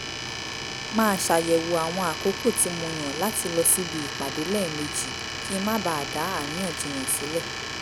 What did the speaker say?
máa ṣàyẹ̀wò àwọn àkókò tí mo yàn láti lọ síbi ìpàdé lẹ́ẹ̀mejì kí n má bàa da àríyànjiyàn sílẹ̀